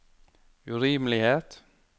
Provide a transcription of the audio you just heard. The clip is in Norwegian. urimelighet